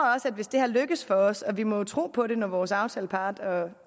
hvis det lykkes for os og vi må jo tro på det når vores aftaleparter